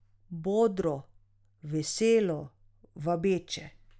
Bodro, veselo, vabeče.